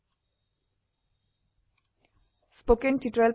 spoken tuitorialorgৱ্হাট is a spoken tuitorial